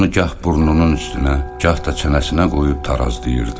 Onu gah burnunun üstünə, gah da çənəsinə qoyub tarazlayırdı.